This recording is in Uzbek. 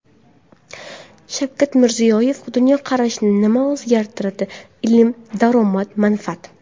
Shavkat Mirziyoyev: Dunyoqarashni nima o‘zgartiradi – ilm, daromad, manfaat.